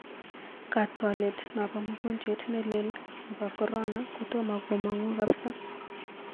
Kaatwolet napaa mugojwet nelel nepao korona kotoma komang'u kapsa.